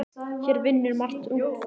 Hér vinnur margt ungt fólk.